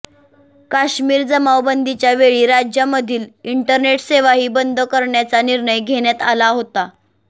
काश्मीर जमावबंदीच्या वेळी राज्यामधील इंटरनेट सेवाही बंद करण्याचा निर्णय घेण्यात आला होता